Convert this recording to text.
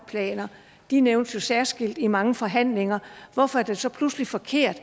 de nævnes jo særskilt i mange forhandlinger hvorfor er det så pludselig forkert